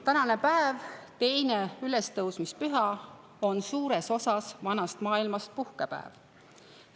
Tänane päev, teine ülestõusmispüha, on suures osas vanas maailmas puhkepäev.